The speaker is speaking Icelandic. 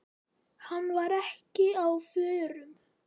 Hann var ekki á förum.